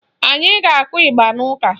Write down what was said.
Anyi ga-akụ ịgba n'ụka